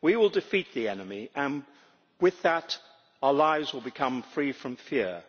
We will defeat the enemy and with that our lives will become free from fear,